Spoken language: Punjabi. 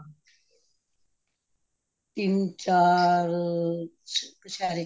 ਤਿੰਨ ਚਾਰ ਕਛੇਰੇ